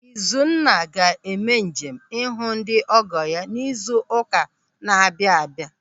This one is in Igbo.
Izuna ga-eme njem ịhụ ndị ọgọ ya n'izu ụka na-abịa abịa.